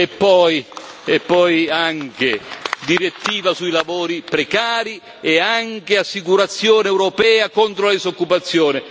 E poi anche la direttiva sui lavori precari e l'assicurazione europea contro la disoccupazione.